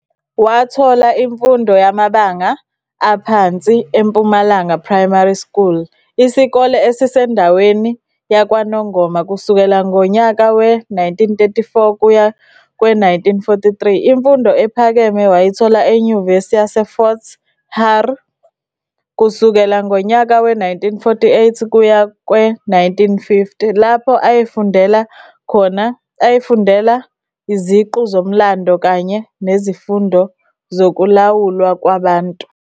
Wathola imfundo yamabanga aphansi e-"Impumalanga Primary School" isikole esisendaweni yakwaNongoma kusukela ngonyaka we-1934 kuya kwe-1943. Imfundo ephakeme wayithola eNyuvesi Yase Fort hare kusukela ngonyaka we-1948 kuya kwe-1950, lapho ayefundela iziqu zoMlando kanye nzifundo zokuLawulwa kwaBantu.